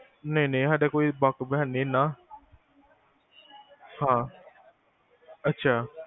ਨਹੀ ਨਹੀ ਸਾਡਾ ਕੋਈ ਵਾਕਫ਼ ਹੈ ਨੀ ਇਹਨਾਂ ਹਾਂ ਅੱਛਾ